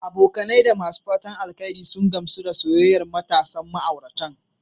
Abokai da masu fatan alheri sun gamsu da soyayyar matasan ma'auratan.